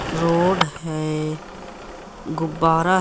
road है गुब्बारा--